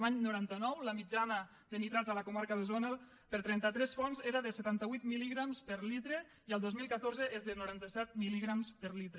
l’any noranta nou la mitjana de nitrats a la comarca d’osona per a trenta tres fonts era de setanta vuit mil·ligrams per litre i el dos mil catorze és de noranta set milper litre